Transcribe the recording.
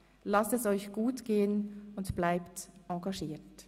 Lasst es euch gut gehen und bleibt engagiert!